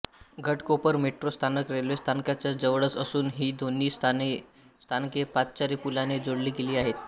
Ghatkopar metro स्थानक railway स्थानकाच्या जवळच असून ही दोन्ही स्थानके पादचारी पुलाने जोडली गेली आहेत